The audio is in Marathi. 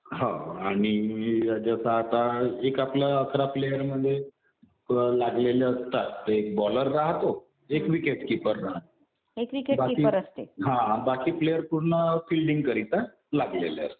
हो आणि जसं आता एक आपलं अकरा प्लेयरमध्ये लागलेले असतात. एक बॉलर राहतो. एक विकेट किपर राहतो. बाकी हा. बाकी प्लेयर पूर्ण फिल्डिंग करीता लागलेले असतात.